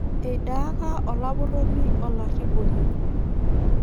Eidaaka olapurroni olarriponi